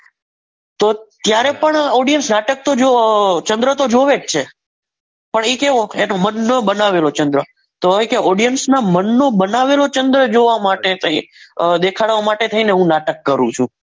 તો ત્યારે પણ audience નાટક તો અરે ચંદ્ર તો જોવે જ છે પણ એ કયો મનનો બનાવેલો ચંદ્ર તો હવે કે audience ના મનનો બનાવેલો ચંદ્ર જોવા માટે દેખાડવા માટે અહીંયા હું નાટક કરું છું.